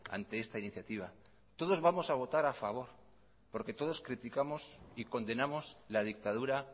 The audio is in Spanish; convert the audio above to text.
ante esta iniciativa todos vamos a votar a favor porque todos criticamos y condenamos la dictadura